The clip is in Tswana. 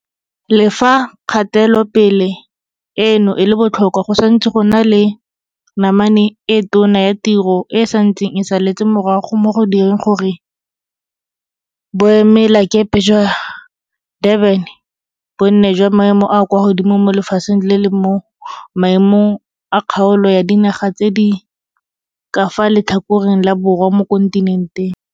Le fa kgatelopele eno e le botlhokwa, go santse go na le namane e tona ya tiro e e santseng e saletse morago mo go direng gore boemelakepe jwa Durban bo nne jwa maemo a a kwa godimo mo lefatsheng le mo maemong a kgaolo ya dinaga tse di ka fa letlhakoreng la borwa mo kontinenteng.